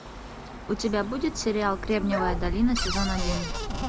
у тебя будет сериал кремниевая долина сезон один